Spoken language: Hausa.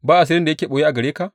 Ba asirin da yake ɓoye a gare ka?